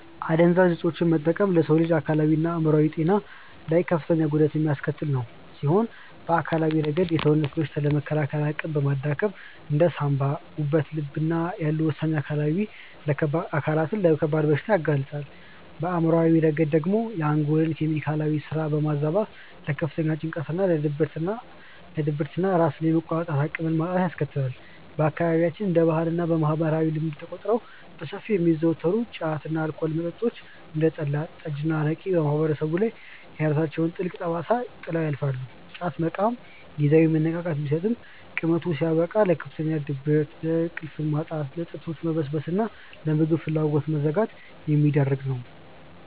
አደንዛዥ እፆችን መጠቀም በሰው ልጅ አካላዊና አእምሯዊ ጤና ላይ ከፍተኛ ጉዳት የሚያስከትል ሲሆን፣ በአካላዊ ረገድ የሰውነትን በሽታ የመከላከል አቅም በማዳከም እንደ ሳንባ፣ ጉበትና ልብ ያሉ ወሳኝ አካላትን ለከባድ በሽታዎች ያጋልጣል፤ በአእምሯዊ ረገድ ደግሞ የአንጎልን የኬሚካል ስራ በማዛባት ለከፍተኛ ጭንቀት፣ ለድብርትና ራስን የመቆጣጠር አቅምን ማጣትን ያስከትላል። በአካባቢያችን እንደ ባህልና ማህበራዊ ልማድ ተቆጥረው በሰፊው የሚዘወተሩት ጫት እና የአልኮል መጠጦች (እንደ ጠላ፣ ጠጅና አረቄ) በማህበረሰቡ ላይ የራሳቸውን ጥልቅ ጠባሳ ጥለው ያልፋሉ፤ ጫት መቃም ጊዜያዊ መነቃቃትን ቢሰጥም ቅመቱ ሲያበቃ ለከፍተኛ ድብርት፣ ለእንቅልፍ ማጣት፣ ለጥርሶች መበስበስና ለምግብ ፍላጎት መዘጋት የሚዳርግ ነው።